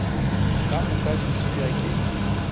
ka moka di tsebja ke